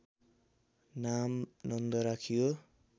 नाम नन्द राखियो